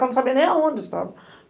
Porque eu não sabia nem aonde eu estava.